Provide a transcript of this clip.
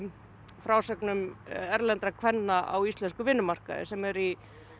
frásögum erlendra kvenna á íslenskum vinnumarkaði sem eru í